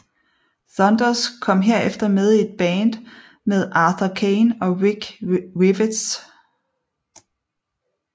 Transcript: Thunders kom herefter med i et band med Arthur Kane og Rick Rivets